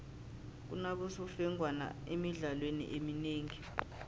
kunabosemfengwana emidlalweni eminengi